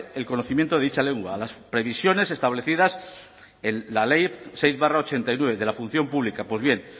el conocimiento de dicha lengua las previsiones establecidas en la ley seis barra ochenta y nueve de la función pública pues bien